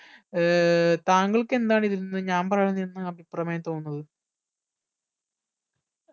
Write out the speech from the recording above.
ഏർ താങ്കൾക്ക് എന്താണ് ഇതിൽ നിന്ന് ഞാൻ പറയണതിൽ നിന്ന് അഭിപ്രമേയം തോന്നുന്നത്